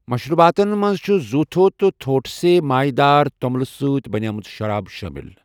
مشروباتن منٛز چھِ زوتھو تہٕ تھوٹسے، مایہِ دار توٚملہٕ سۭتۍ بنے مٕژ شراب شٲمِل۔